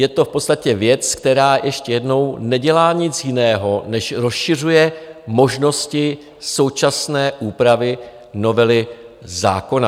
Je to v podstatě věc, která, ještě jednou, nedělá nic jiného, než rozšiřuje možnosti současné úpravy novely zákona.